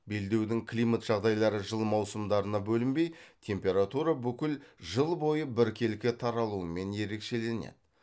белдеудің климат жағдайлары жыл маусымдарына бөлінбей температура бүкіл жыл бойы біркелкі таралуымен ерекшеленеді